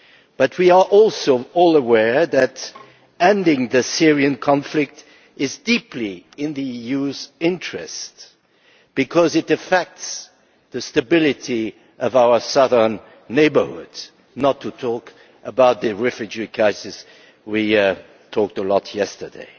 But we are also all aware that ending the Syrian conflict is deeply in the EU's interest because it affects the stability of our southern neighbourhood, not to mention the refugee crisis which we talked about a lot yesterday.